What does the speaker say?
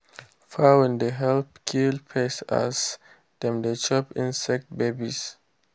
fowl dey help kill pest as dem dey chop insect babies.